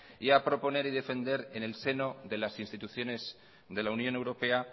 y a proponer y defender en el seno de las instituciones de la unión europea